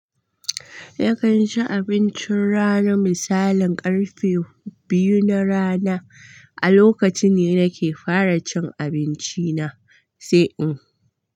Nakan ci abincin rana misalin ƙarfe biyu na rana, a lokaci ne nake fara cin abinci na sai in.